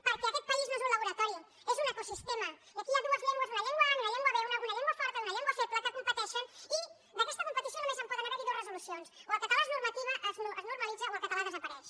perquè aquest país no és un laboratori és un ecosistema i aquí hi ha dues llengües una llengua a i una llengua b una llengua forta i una llengua feble que competeixen i d’aquesta competició només poden haver hi dues resolucions o el català es normalitza o el català desapareix